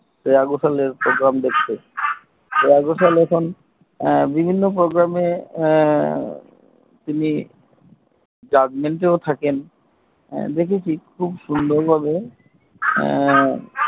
শ্রেয়া ঘোষাল এর প্রোগ্রাম দেখতে শ্রেয়া ঘোষাল এখন বিভিন্ন Program এখন তিনি judgment থাকেন দেখেছি খুব সুন্দর ভাবে হুম